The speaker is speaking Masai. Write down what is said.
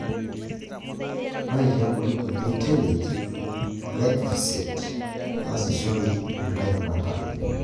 ore tiabori kulie Tillage -glyphosate naasishore anke rubata